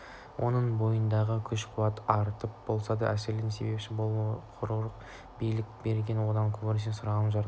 оның бойындағы күш-қуаттың артып болмаса әлсіреуіне себепші болады қыруар билік берілген одан көбірек сұрағын жаратушым